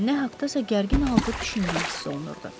Nə haqdasa gərgin halda düşündüyü hiss olunurdu.